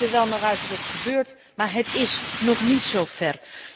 Het ziet er wel naar uit dat het gebeurt, maar het is nog niet zover.